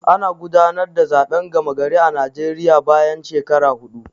Ana gudanar da zaɓen gama gari a Naijeriya bayan shekara huɗu